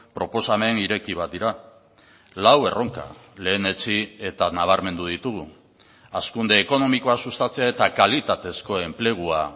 proposamen ireki bat dira lau erronka lehenetsi eta nabarmendu ditugu hazkunde ekonomikoa sustatzea eta kalitatezko enplegua